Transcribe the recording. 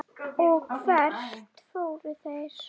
Lena fékkst ekki úr því.